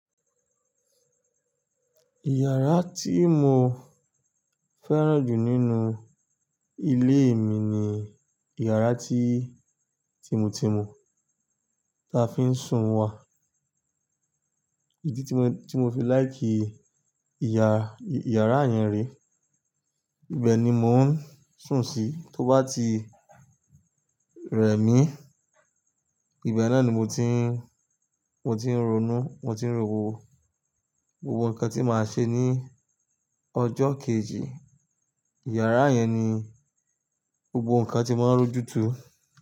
Ìyàrá tí mo fẹ́ràn jù nínú ilé mi ni ìyàrá tí, timu timu ta fi ń sùn wa. Ìdí tí mo, tí mo fi láì kí ìyà, ìyàrá yẹn ré. Ibẹ̀ ni mò ń sùn sí tó bá ti rẹ̀ mí. Ibẹ̀ náà ni mo ti ń, mo ti ń ronú, mo ti ń ro wo. Gbogbo nǹkan tí màá ṣe ní ọjọ́ kejì, ìyàrá yẹn ni gbogbo nǹkan tí màá r'ójùtú.